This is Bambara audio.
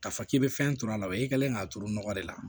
K'a fɔ k'i bɛ fɛn turu a la wa i kɛlen k'a turu nɔgɔ de la